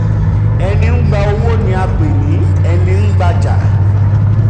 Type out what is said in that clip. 24. ẹni ń gbà owó ni a um pè ní ẹní ń um gbajà.